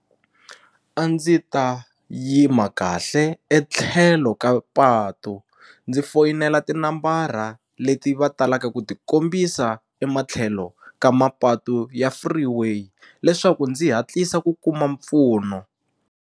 A ndzi ta yima kahle etlhelo ka patu ndzi foyinela tinambara leti va talaka ku tikombisa ematlhelo ka mapatu ya freeway leswaku ndzi hatlisa ku kuma mpfuno.